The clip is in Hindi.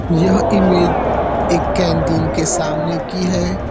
यहा इमेज एक कैंटीन के सामने की हैं।